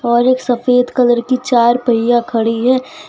और एक सफेद कलर की चार पहिया खड़ी है।